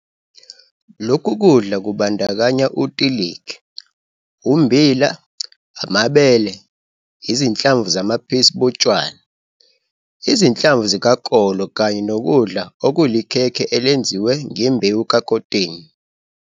Lokhu kudla kubandakanya utiligi, ummbili, ibhele, izinhlamvu zabaphisi botshwala, izinhlamvu zikakolo kanye nokudla okulikhhekhe elenziwe ngembewu kakotini.